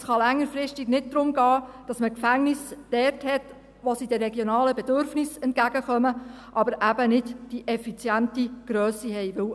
Es kann längerfristig nicht darum gehen, dass man die Gefängnisse dort hat, wo sie zwar den regionalen Bedürfnissen entgegenkommen, aber eben nicht die effiziente Grösse haben.